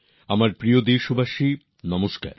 আমার প্রিয় দেশবাসীগণ নমস্কার